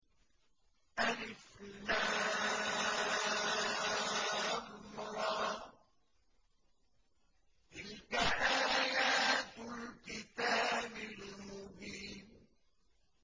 الر ۚ تِلْكَ آيَاتُ الْكِتَابِ الْمُبِينِ